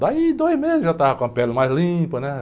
Daí, dois meses, já estava com a pele mais limpa, né?